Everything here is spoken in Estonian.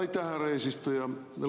Aitäh, härra eesistuja!